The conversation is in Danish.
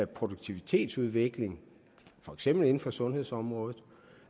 produktivitetsudvikling for eksempel inden for sundhedsområdet